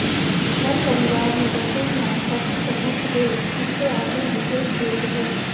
ਹਰ ਪਰਿਵਾਰ ਨੂੰ ਰਸੋਈ ਨਾਸ਼ਪਾਤੀ ਸਲੂਕ ਦੇ ਇਸ ਦੇ ਆਪਣੇ ਵਿਸ਼ੇਸ਼ ਭੇਦ ਹੈ